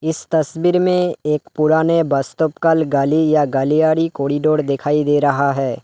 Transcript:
इस तस्वीर में एक पुराने बस स्टॉप का गाली या गलियारी कॉरिडोर दिखाई दे रहा है।